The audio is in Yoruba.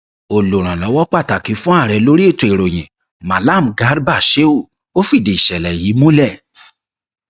olùrànlọwọ pàtàkì fún ààrẹ lórí ètò ìròyìn mallam garba shehu fìdí ìṣẹlẹ yìí múlẹ